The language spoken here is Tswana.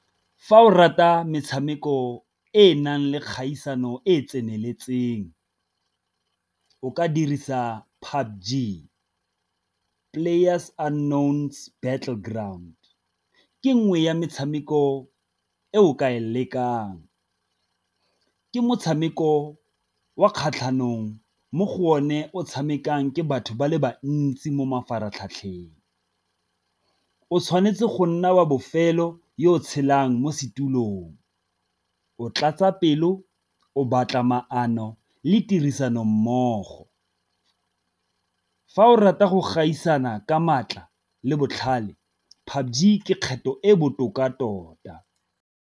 Fa o rata metshameko e e nang le kgaisano e e tseneletseng, o ka dirisa battle ground ke nngwe ya metshameko e o ka e lekang. Ke motshameko wa kgatlhanong mo go o ne o tshamekang ke batho ba le bantsi mo mafaratlhatlheng, o tshwanetse go nna wa bofelo yo o tshelang mo setulong, o tlatsa pelo, o batla maano le tirisano mmogo. Fa o rata go gaisana ka maatla le botlhale kgetho e botoka tota.